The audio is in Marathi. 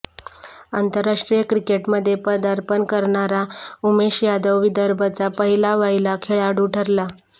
आंतरराष्ट्रीय क्रिकेटमध्ये पदार्पण करणारा उमेश यादव विदर्भचा पहिलावहिला खेळाडू ठरला